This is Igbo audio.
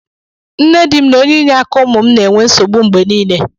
Nne di m na onye iye aka umu m na-enwe nsogbu mgbe niile